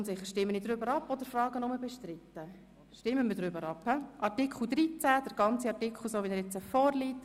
Somit stimmen wir über den gesamten Artikel 13 ab, so wie er jetzt vorliegt.